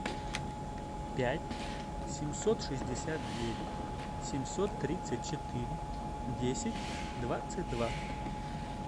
пять семьсот шестьдесят девять семьсот тридцать четыре десять двадцать два